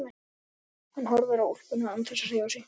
Hann horfir á úlpuna án þess að hreyfa sig.